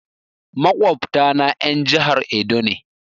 Maƙwabta na en jahar Edo ne